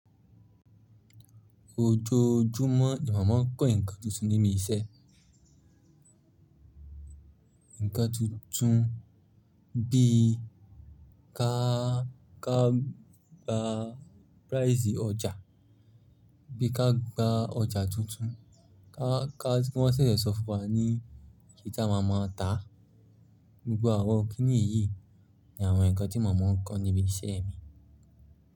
Ojoojúmọ́ ni mo má ń kọ́ nǹkan tuntun níbi iṣẹ́. Ǹkan tuntun bí i ká, ká gba rice ọjà, bí i ká gba ọjà tuntun, ká, ká, kí wọ́n ṣẹ̀ṣẹ̀ sọ fún wa ní kí tí a má máa tà. Gbogbo àwọn kìnì yìí ni àwọn nǹkan tí mo má ń kọ́ níbi iṣẹ́ mi.